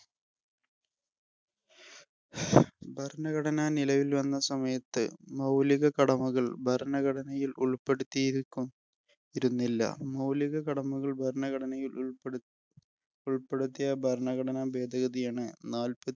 ഭരണഘടന നിലവിൽ വന്ന സമയത്ത് മൗലിക കടമകൾ ഭരണഘടനയില്‍ ഉൾപ്പെടുത്തിയിരിക്കും ഇരുന്നില്ല. മൗലിക കടമകൾ ഭരണഘടനയില്‍ ഉൾപ്പെടു ഉൾപ്പെടുത്തിയ ഭരണഘടനാ ഭേദഗതിയാണ് നാൽപ്പ